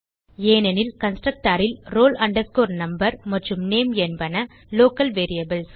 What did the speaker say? ஏனெனில் கன்ஸ்ட்ரக்டர் ல் roll number மற்றும் நேம் என்பன லோக்கல் வேரியபிள்ஸ்